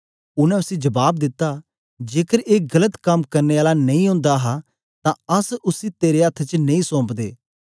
उनै उसी जबाब दिता जेकर ए गलत कम करने आला नेई ओंदा हा तां अस उसी तेरे अथ्थ च नेई सौंपदे